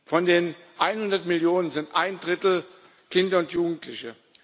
Von den 100 Millionen sind ein Drittel Kinder und Jugendliche!